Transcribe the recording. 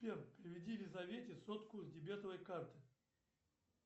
сбер переведи елизавете сотку с дебетовой карты